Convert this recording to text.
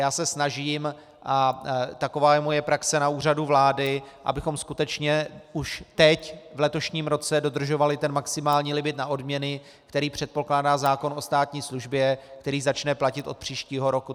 Já se snažím, a taková je moje praxe na úřadu vlády, abychom skutečně už teď, v letošním roce, dodržovali ten maximální limit na odměny, který předpokládá zákon o státní službě, který začne platit od příštího roku.